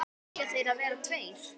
Eiga þeir að vera tveir?